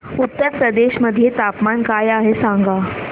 उत्तर प्रदेश मध्ये तापमान काय आहे सांगा